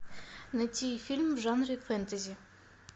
найти фильм в жанре фэнтези